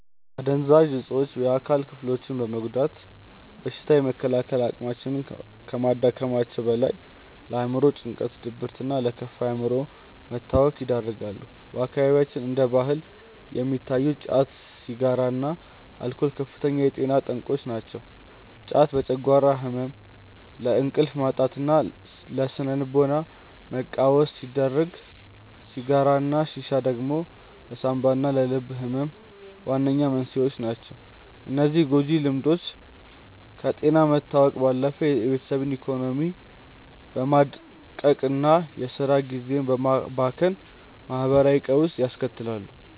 አደንዛዥ እፆች የአካል ክፍሎችን በመጉዳት በሽታ የመከላከል አቅምን ከማዳከማቸውም በላይ፣ ለአእምሮ ጭንቀት፣ ለድብርትና ለከፋ የአእምሮ መታወክ ይዳርጋሉ። በአካባቢያችን እንደ ባህል የሚታዩት ጫት፣ ሲጋራና አልኮል ከፍተኛ የጤና ጠንቆች ናቸው። ጫት ለጨጓራ ህመም፣ ለእንቅልፍ ማጣትና ለስነ-ልቦና መቃወስ ሲዳርግ፣ ሲጋራና ሺሻ ደግሞ ለሳንባና ለልብ ህመም ዋነኛ መንስኤዎች ናቸው። እነዚህ ጎጂ ልምዶች ከጤና መታወክ ባለፈ የቤተሰብን ኢኮኖሚ በማድቀቅና የስራ ጊዜን በማባከን ማህበራዊ ቀውስ ያስከትላሉ።